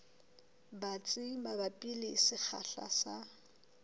batsi mabapi le sekgahla sa